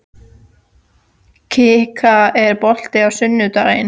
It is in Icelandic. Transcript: Kikka, er bolti á sunnudaginn?